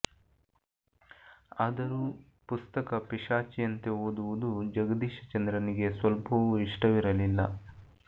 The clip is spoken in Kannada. ಆದರೂ ಪುಸ್ತಕ ಪಿಶಾಚಿಯಂತೆ ಓದುವುದು ಜಗದೀಶ ಚಂದ್ರನಿಗೆ ಸ್ವಲ್ಪವೂ ಇಷ್ಟವಿರಲಿಲ್ಲ